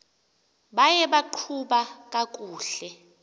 buye baqhuba kakuhle